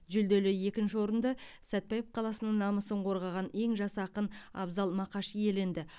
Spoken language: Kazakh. жүлделі екінші орынды сәтбаев қаласының намысын қорғаған ең жас ақын абзал мақаш иеленді